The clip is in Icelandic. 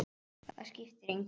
Það skiptir engu